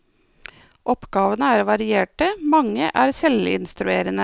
Oppgavene er varierte, mange er selvinstruerende.